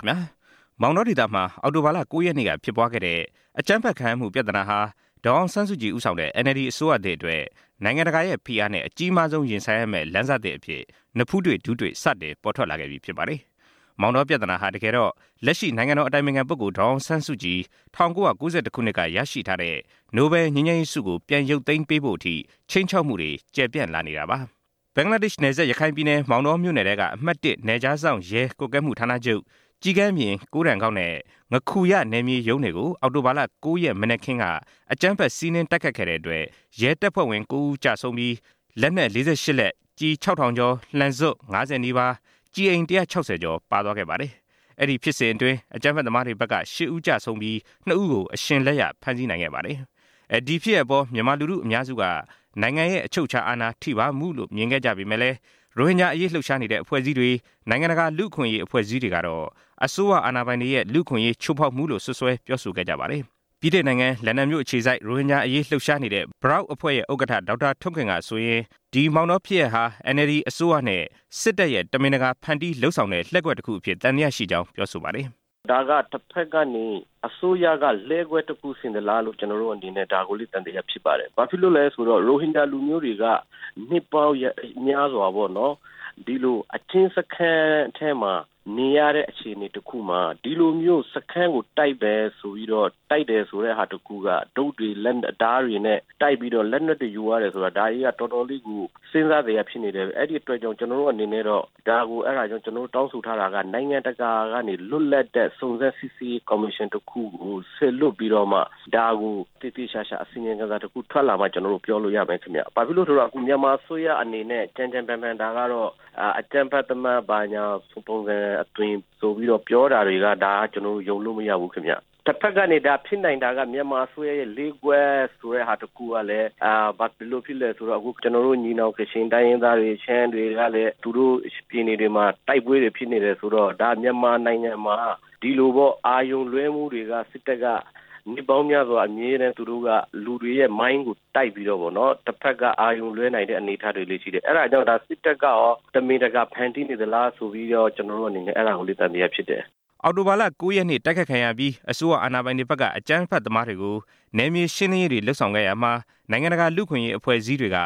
ခင်ဗျား မောင်တောဒေသမှာ အောက်တိုဘာ ၉ ရက်နေ့က ဖြစ်ပွားခဲ့တဲ့ အကြမ်းဖက်ခံရမှုပြဿနာဟာ ဒေါ်အောင်ဆန်းစုကြည် ဦးဆောင်တဲ့ NLD အစိုးရသစ်အတွက် နိုင်ငံတကာရဲ့ဖိအားနဲ့ အကြီးမားဆုံး ရင်ဆိုင်ရမယ့် လမ်းစသစ်အဖြစ် နဖူးတွေ့ ဒူးတွေ့ စတင်ပေါ်ထွက်လာခဲ့ပြီ ဖြစ်ပါတယ်။ မောင်တောပြဿနာဟာ တကယ်တော့ လက်ရှိနိုင်ငံတော်အတိုင်ပင်ခံပုဂ္ဂိုလ် ဒေါ်အောင်ဆန်းစုကြည် ၁၉၉၁ ခုနှစ်က ရရှိထားတဲ့ နိုဘယ်လ်ငြိမ်းချမ်းရေးဆုကို ပြန်ရုပ်သိမ်းပေးဖို့အထိ တောင်းဆိုခြိမ်းခြောက်မှုတွေ ကျယ်ပြန့်လာနေတာပါ။ ဘင်္ဂလားဒေ့ရှ်နယ်စပ် ရခိုင်ပြည်နယ် မောင်တောမြို့နယ်ထဲက အမှတ် နယ်ခြားစောင့်ရဲ ကွပ်ကဲမှုဌာနချုပ် ကျီးကန်းပြင်၊ ကိုးတန်ကောက်နဲ့ ငါးခူရနယ်မြေရုံးတွေကို အောက်တိုဘာ ၉ ရက် မနက်ခင်းက အကြမ်းဖက်စီးနင်းတိုက်ခိုက်ခဲ့တဲ့အတွက် ရဲတပ်ဖွဲ့ဝင် ၉ ဦး ကျဆုံးပြီး လက်နက် ၄၈ လက်၊ ကျည် ၆ ထောင်ကျော်၊ လှံစွပ် ၅၀ နီးပါး၊ ကျည်အိမ် ၁၆၀ ကျော် ပါသွားခဲ့ပါတယ်။ အဲဒီဖြစ်စဉ်အတွင်း အကြမ်းဖက်သမားတွေဘက် ၈ ဦးကျဆုံးပြီး၊ ၂ ဦးကို အရှင်လက်ရဖမ်းဆီးရမိခဲ့ပါတယ်။ ဒီဖြစ်ရပ်အပေါ် မြန်မာလူထုအများစုက နိုင်ငံရဲ့ အချုပ်အခြာအာဏာထိပါးမှုလို့ ထင်မြင်ခဲ့ကြပေမယ့်လည်း ရိုဟင်ဂျာအရေးလှုပ်ရှားနေတဲ့အဖွဲ့တွေ လူ့အခွင့်အရေးအဖွဲ့တွေကတော့ အစိုးရအာဏာပိုင်တွေရဲ့ လူ့အခွင့်အရေးချိုးဖောက်မှုလို့ စွပ်စွဲပြောဆိုခဲ့ကြပါတယ်။ ဗြိတိန်နိုင်ငံ လန်ဒန်မြို့အခြေစိုက် ရိုဟင်ဂျာအရေးလှုပ်ရှားနေတဲ့ BROUK (Rohingya President of Burmese Rohingya Organisation UK) အဖွဲ့ဥက္ကဌ ဒေါက်တာထွန်းခင်ကဆိုရင် ဒီမောင်တော ဖြစ်ရပ်ဟာ NLD အစိုးရနဲ့ စစ်တပ်ရဲ့ တမင်တကာဖန်တီးလုပ်ဆောင်တဲ့ လှည့်ကွက်တစ်ခုအဖြစ် သံသယရှိကြောင်း ပြောပါတယ်။ “ဒါက တဖက်ကနေ အစိုးရက လှည့်ကွက်တစ်ခုဆင်သလားလို့ ကျွန်တော်တို့အနေနဲ့ ဒါကိုလည်း သံသယဖြစ်ပါတယ်၊ ဘာဖြစ်လို့လည်းဆိုတော့ ရိုဟင်ဂျာလူမျိုးတွေက နှစ်ပေါင်းများစွာ ဒီလိုအကျဉ်းစခန်းထဲမှာ နေရတဲ့အခြေအနေတစ်ခုမှာ ဒီလိုမျိုး စခန်းကို တိုက်မယ်ဆိုပြီးတော့၊ တိုက်တယ်ဆိုတဲ့ဟာတစ်ခုက တုတ်တွေ လက်နက် ဓါးတွေနဲ့ တိုက်ပြီးတော့ လက်နက်တွေ ယူသွားတယ်ဆိုတာ ဒါကြီးကတော်တော်လေးကို စဉ်းစားစရာဖြစ်နေတယ်။ အဲဒီအတွက်ကြောင့် ကျွန်တော်တို့အနေနဲ့ကတော့ ဒါကိုတောင်းဆိုထားတာက နိုင်ငံတကာကနေ လွတ်လပ်တဲ့ စုံစမ်းစစ်ဆေးရေးကော်မရှင်တစ်ခုကို စေလွှတ်ပြီးတော့မှ ဒါကို သေသေချာချာ အစီရင်ခံစာ ထွက်လာမှ ကျွန်တော်တို့ ပြောလို့ရမယ်ခင်ဗျ။ ဘာဖြစ်လို့လည်းဆိုတော့ အခုမြန်မာအစိုးရအနေနဲ့ ကြမ်းကြမ်းတမ်းတမ်း ဒါကတော့ အကြမ်းဖက်သမား ဘာညာပုံစံအသွင်ဆိုပြီးတော့ ပြောတာတွေက ဒါက ကျွန်တော်တို့ ယုံလို့ မရဘူးခင်ဗျ။” “တဖက်ကနေ ဒါက ဖြစ်နိုင်တာက မြန်မာအစိုးရရဲ့ လှည့်ကွက်ဆိုတဲ့ဟာတစ်ခုကလည်း ဘယ်လိုဖြစ်လဲဆိုတော့ အခုကျွန်တော်တို့ ညီနောင် ကချင်တိုင်းရင်းသားတွေ၊ ရှမ်းတွေကလည်း သူတို့ပြည်နယ်တွေမှာ တိုက်ပွဲတွေ ဖြစ်နေတယ်ဆိုတော့ ဒါ မြန်မာနိုင်ငံမှာ ဒီလိုပေါ့ အာရုံလွှဲမှုတွေက စစ်တပ်က နှစ်ပေါင်းများစွာ သူတို့က လူတွေရဲ့ mind ကိုတိုက်ပြီးတော့ တဖက်က အာရုံလွှဲနိုင်တဲ့ အနေအထားတွေလည်းရှိတယ်။ အဲဒါကြောင့် စစ်တပ်ကရော တမင်တကာ ဖန်တီးနေသလားဆိုပြီးတော့ ကျွန်တော်တို့အနေနဲ့ အဲဒါကိုလည်း သံသယဖြစ်တယ်” အောက်တိုဘာ ၉ ရက်နေ့ တိုက်ခိုက်ခံရပြီး အစိုးရ အာဏာပိုင်တွေဘက်က အကြမ်းဖက်သမားတွေကို နယ်မြေရှင်းလင်းရေးတွေ လုပ်ဆောင်ခဲ့ရာမှာ နိုင်ငံတကာ လူ့အခွင့်အရေးအဖွဲ့အစည်းတွေက